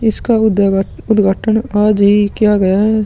इसका उदय उद्घाटन आज ही किया गया है।